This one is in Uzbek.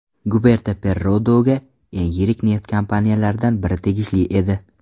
Guberta Perrodoga eng yirik neft kompaniyalaridan biri tegishli edi.